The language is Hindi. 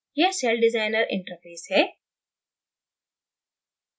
यह celldesigner interface है